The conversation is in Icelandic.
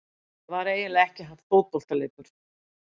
Það var eiginlega ekki fótboltaleikur.